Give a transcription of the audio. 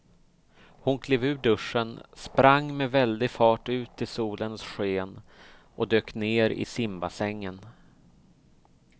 Hon klev ur duschen, sprang med väldig fart ut i solens sken och dök ner i simbassängen.